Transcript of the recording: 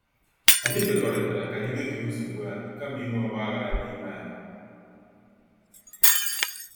Anyị kwekọrịtara ka anyị detuo nsogbu anyị kama inwe ogbaghara n' ime anyị.